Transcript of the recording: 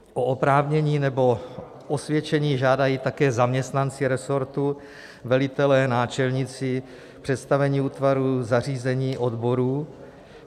O oprávnění nebo osvědčení žádají také zaměstnanci resortu, velitelé, náčelníci, představení útvarů, zařízení odborů.